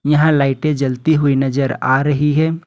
यहां लाइटे जलती हुई नजर आ रही है।